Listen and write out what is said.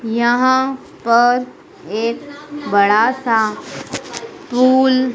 यहां पर एक बड़ा सा धूल--